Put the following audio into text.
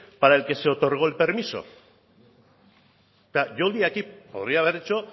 para el que se otorgó el permiso yoldi aquí podría haber hecho